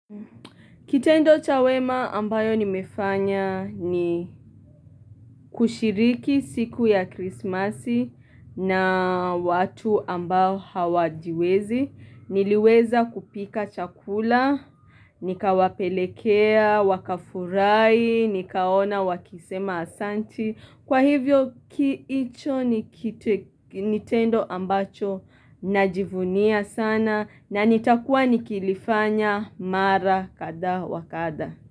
Kitendo cha wema ambayo nimefanya ni kushiriki siku ya krismasi na watu ambao hawajiwezi Niliweza kupika chakula, Nikawapelekea, wakafurahi, nikaona wakisema asanti kwa hivyo hicho tendo ambacho na jivunia sana na nitakuwa ni kilifanya mara kadhaa wakadhaa.